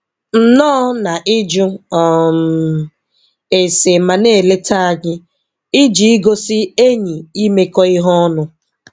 Nnọọ na ịjụ um ese ma na-eleta anyị. Iji igosi enyi imekọ ihe ọnụ.